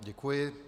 Děkuji.